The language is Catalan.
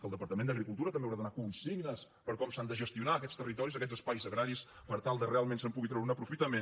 el departament d’agricultura també haurà de donar consignes per com s’han de gestionar aquests territoris aquests espais agraris per tal que realment se’n pugui treure un aprofitament